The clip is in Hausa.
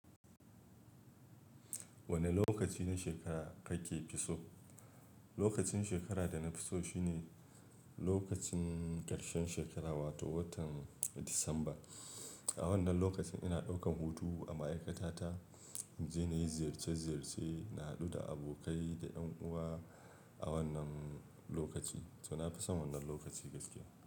Wane lokaci na shekara kake fi so? Lokacin shekara da na fi so shine lokacin ƙarshen shekara, wato watan Disamba. A wannan lokacin ina ɗaukan hutu a ma'aikata ta, mu je na yi ziyarce ziyarce, na haɗu da abokai da 'ƴan uwa a wannan lokaci, to na fi son wannan lokaci gaskiya.